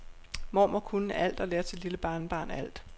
Mormor kunne alt og lærte sit lille barnebarn alt.